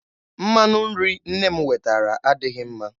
Mmanụ nri nne m wetara adịghị mma.